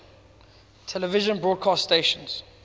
television broadcast stations